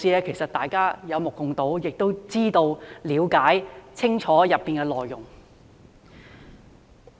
其實，大家有目共睹，亦知道和清楚了解當中的內容。